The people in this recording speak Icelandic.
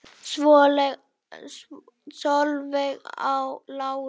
Solveig Lára.